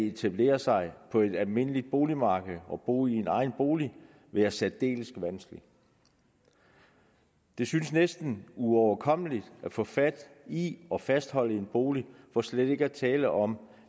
etablere sig på et almindeligt boligmarked og bo i egen bolig være særdeles vanskeligt det synes næsten uoverkommeligt at få fat i og fastholde en bolig for slet ikke at tale om